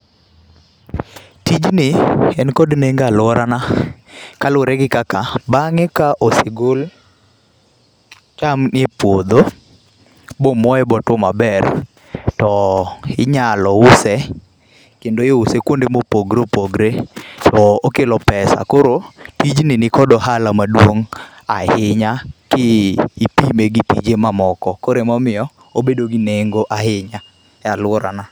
Tijni en kod nengo e alworana, kaluwore gi kaka, bangé ka osegol chamni e puodho, bomoe bo two maber to inyalo use, kendo iuse kuonde mopogore opogore to okelo pesa. Koro tijni ni kod ohala maduong' ahinya, ki ipime gi tije mamoko. Koro ema omiyo obedo gi nengo ahinya e alworana.